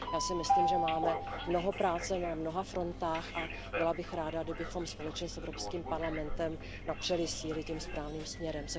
Já si myslím, že máme mnoho práce na mnoha frontách a byla bych ráda, kdybychom společně s Evropským parlamentem napřeli síly tím správným směrem.